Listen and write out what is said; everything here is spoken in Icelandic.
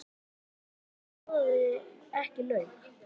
Hann var fyrir Björgu sem borðaði ekki lauk.